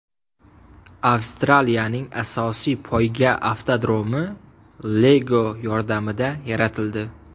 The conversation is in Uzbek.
Avstraliyaning asosiy poyga avtodromi Lego yordamida yaratildi .